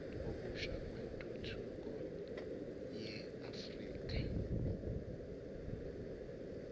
okusha kwentuthuko yeafrika